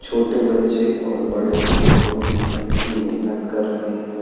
छोटे बच्चे और बड़े बहुत ही अच्छी मेहनत कर रहे हैं।